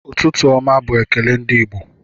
Ụtụtụ ọma bu ekele ndi Igbo